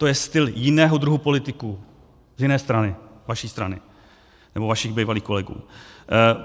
To je styl jiného druhu politiků z jiné strany, vaší strany, nebo vašich bývalých kolegů.